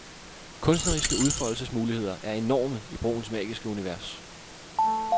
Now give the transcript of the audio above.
Kunstneriske udfoldelsesmuligheder er enorme i broens magiske univers.